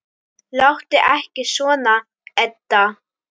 Láttu ekki svona, Edda.